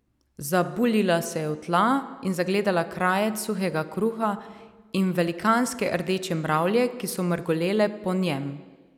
Zabuljila se je v tla in zagledala krajec suhega kruha in velikanske rdeče mravlje, ki so mrgolele po njem.